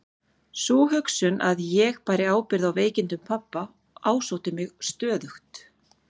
Sú hugsun að ég bæri ábyrgð á veikindum pabba ásótti mig stöðugt.